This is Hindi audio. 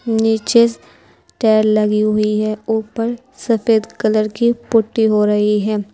नीचे टाइल लगी हुई है ऊपर सफेद कलर की पुट्टी हो रही है।